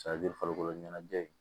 farikolo ɲɛnajɛ in